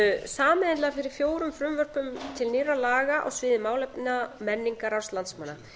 sameiginlega fyrir fjórum frumvörpum til nýrra laga á sviði málefna menningararfs landsmanna